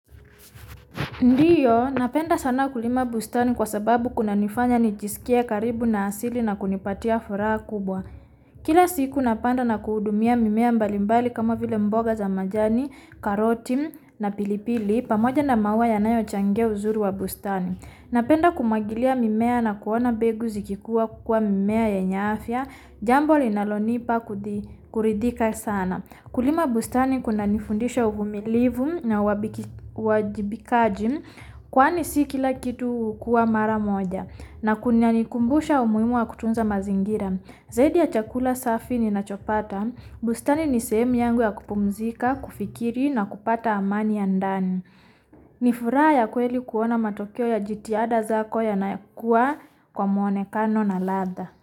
Ndiyo, napenda sana kulima bustani kwa sababu kunanifanya nijisikie karibu na asili na kunipatia furaha kubwa. Kila siku napanda na kuhudumia mimea mbali mbali kama vile mboga za majani, karoti na pilipili pamoja na maua yanayo changia uzuri wa bustani. Napenda kumwagilia mimea na kuona mbegu zikikuwa kukua mimea yenye afya Jambo linalonipa kuridhika sana. Kulima bustani kunanifundisha uvumilivu na uwajibikaji kwani si kila kitu hukua mara moja na kunanikumbusha umuhimu wa kutunza mazingira. Zaidi ya chakula safi ninachopata, bustani ni sehemu yangu ya kupumzika, kufikiri na kupata amani ya ndani. Ni furaha ya kweli kuona matokeo ya jitihada zako yanakua kwa mwonekano na ladha.